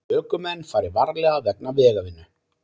Ökumenn fari varlega vegna vegavinnu